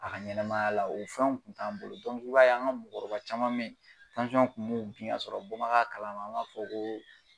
A ka ɲɛnɛmaya la, o fɛnw kun t'an bolo, i b'a ye an ka mɔkɔrɔba caman me ye, i b'a ye kun mi bin, o y'a sɔrɔ bɔ ma k'a kalama an m'a fɔ ko